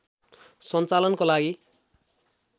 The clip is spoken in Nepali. सञ्चालनको लागि